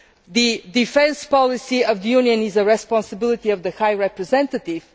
The defence policy of the Union is the responsibility of the High Representative.